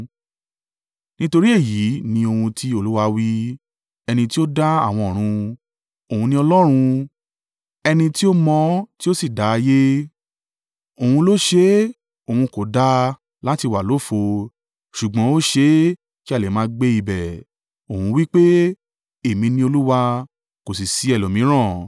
Nítorí èyí ni ohun tí Olúwa wí, ẹni tí ó dá àwọn ọ̀run, Òun ni Ọlọ́run; ẹni tí ó mọ tí ó sì dá ayé, Òun ló ṣe é; Òun kò dá a láti wà lófo, ṣùgbọ́n ó ṣe é kí a lè máa gbé ibẹ̀, Òun wí pé: “Èmi ni Olúwa, kò sì ṣí ẹlòmíràn.